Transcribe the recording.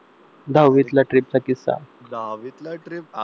दहावीतला trip चा किस्सा